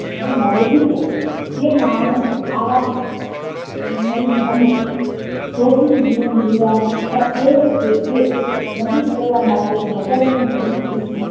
આ મારો વિચાર જે માણસ સારા અને અને સુખી જીવન જીવવા ની ઈચ્છા સેવે છે તે નદી તરવા માટે મદદ ને દિલ થી